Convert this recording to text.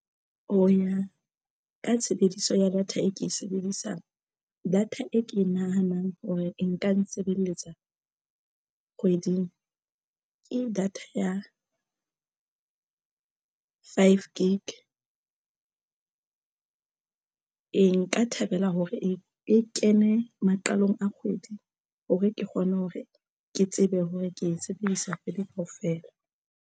Ho ya ka tshebediso ya data e ke e sebedisang data e ke nahanang hore nka nsebeletsa kgweding ke data ya five ka gig. Ee, nka thabela hore e kene maqalong a kgwedi hore ke kgone hore ke tsebe hore ke e sebedisa kgwedi kaofela.